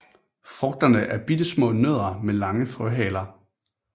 Frugterne er bittesmå nødder med lange frøhaler